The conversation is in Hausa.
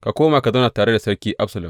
Ka koma ka zauna tare da Sarki Absalom.